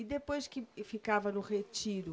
E depois que e ficava no retiro?